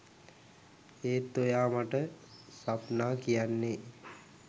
ඒත් ඔයා මට ස්වප්නා කියන්නේ